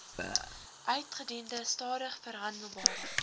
uitgediende stadig verhandelbare